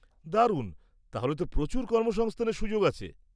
-দারুণ! তাহলে তো প্রচুর কর্মসংস্থানের সুযোগ আছে।